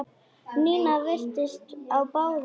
Nína virtist á báðum áttum.